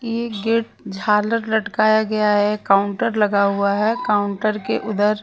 ये गेट झालर लटकाया गया है काउंटर लगा हुआ है काउंटर के उधर --